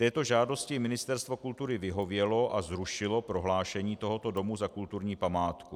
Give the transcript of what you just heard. Této žádosti Ministerstvo kultury vyhovělo a zrušilo prohlášení tohoto domu za kulturní památku.